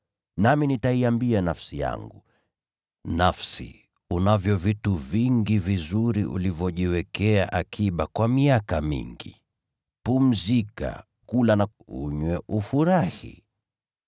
Nami nitaiambia nafsi yangu, “Nafsi, unavyo vitu vingi vizuri ulivyojiwekea akiba kwa miaka mingi. Pumzika; kula, unywe, ufurahi.” ’